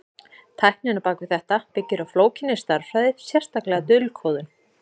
Tæknin á bak við þetta byggir á flókinni stærðfræði, sérstaklega dulkóðun.